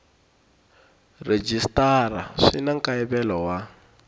rhejisitara swi na nkayivelo wa